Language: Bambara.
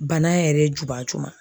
Bana yɛrɛ juba ju ma.